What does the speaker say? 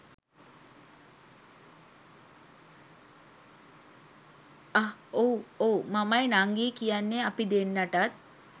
අහ් ඔව් ඔව් මමයි නංගියි කියන්නේ අපි දෙන්නටත්